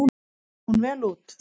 Kom hún vel út.